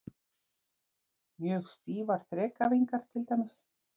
Mjög stífar þrekæfingar til dæmis.